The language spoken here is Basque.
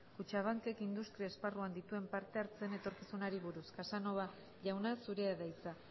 kutxabankek industria esparruan dituen parte hartzeen etorkizunari buruz casanova jauna zurea da hitza